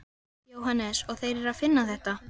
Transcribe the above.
Jóhannes: Og þeir eru að finna þetta?